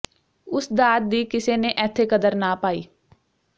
ਉਸ ਦਾਤ ਦੀ ਕਿਸੇ ਨੇ ਐਥੇ ਕਦਰ ਨਾ ਪਾਈ